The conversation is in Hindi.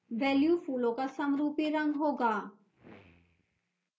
value फूलों का समरूपी रंग होगा